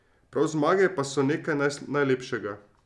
Prav zmage pa so nekaj najlepšega.